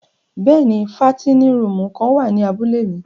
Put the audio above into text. Bẹ́ẹ̀ni, fàtinin rùumù kan wa ni àbule mi.